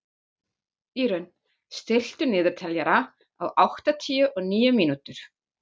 Írunn, stilltu niðurteljara á áttatíu og níu mínútur.